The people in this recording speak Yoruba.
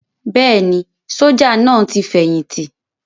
Bẹ́ẹ̀ni, sójà náà ti fẹ̀yìntì